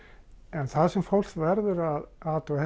en það sem fólk verður að athuga